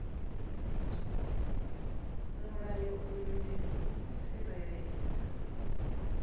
mulayo uyu ndi u tsireledza